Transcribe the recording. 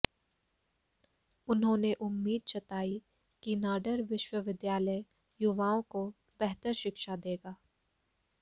उन्होंने उम्मीद जताई कि नाडर विश्वविद्यालय युवाओं को बेहतर शिक्षा देगा